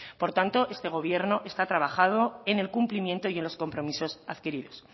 por tanto este gobierno está trabajando en el cumplimiento y en los compromisos adquiridos